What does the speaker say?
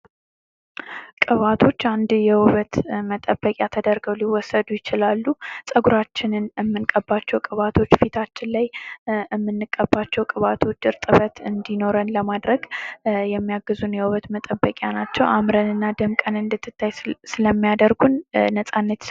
መዋቢያዎች መልክን ለማሻሻል ወይም ለመለወጥ በቆዳ ላይ የሚቀቡ ምርቶች ሲሆኑ የውበት መጠበቂያዎች ቆዳን ለመንከባከብ ያገለግላሉ።